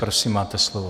Prosím máte slovo.